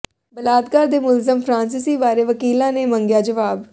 ਬਲਾਤਕਾਰ ਦੇ ਮੁਲਜ਼ਮ ਫਰਾਂਸੀਸੀ ਬਾਰੇ ਵਕੀਲਾਂ ਨੇ ਮੰਗਿਆ ਜਵਾਬ